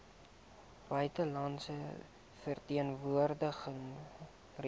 buitelandse verteenwoordiging reise